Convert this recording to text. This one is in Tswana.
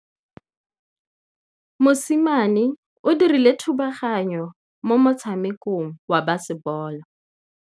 Mosimane o dirile thubaganyô mo motshamekong wa basebôlô.